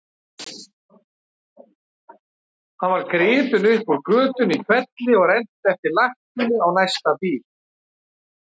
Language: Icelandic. Hann var gripinn upp úr götunni í hvelli og rennt eftir lakkinu á næsta bíl.